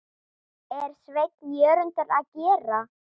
er Sveinn Jörundur að gera?